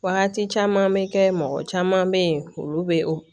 Wagati caman bɛ kɛ mɔgɔ caman bɛ ye olu bɛ o